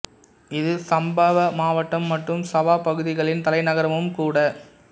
இது சம்பவா மாவட்டம் மற்றும் சவா பகுதிகளின் தலைநகரமும் கூட